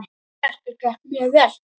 Verkið gekk mjög vel.